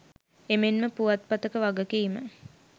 එමෙන්ම පුවත්පතක වගකීම